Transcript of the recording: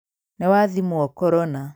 Nĩwathimwo korona